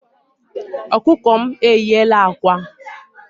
Ọkụkọ m e yiela ákwà.